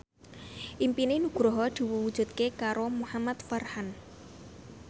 impine Nugroho diwujudke karo Muhamad Farhan